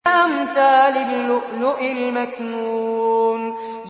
كَأَمْثَالِ اللُّؤْلُؤِ الْمَكْنُونِ